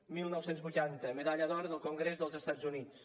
dinou vuitanta medalla d’or del congrés dels estats units